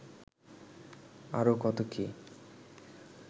আরো কত কী